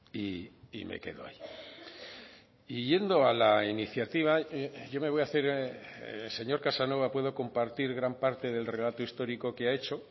y me quedo ahí y yendo a la iniciativa yo me voy a hacer señor casanova puedo compartir gran parte del relato histórico que ha hecho